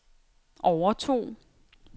overtog